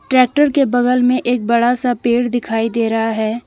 Tractor के बगल में एक बड़ा सा पेड़ दिखाई दे रहा है।